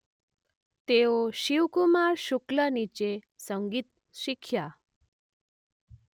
તેઓ શિવકુમાર શુક્લ નીચે સંગીત શીખ્યા.